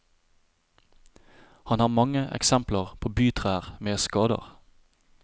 Han har mange eksempler på bytrær med skader.